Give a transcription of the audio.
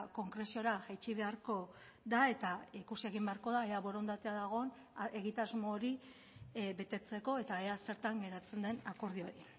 konkreziora jaitsi beharko da eta ikusi egin beharko da ea borondatea dagoen egitasmo hori betetzeko eta ea zertan geratzen den akordio hori